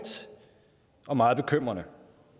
og meget bekymrende